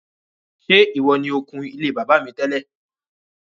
Ṣé ìwọ ni o kun ilé bàbá mi tẹ́lẹ̀?